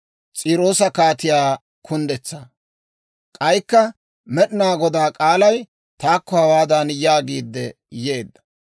K'aykka Med'inaa Godaa k'aalay taakko hawaadan yaagiidde yeedda;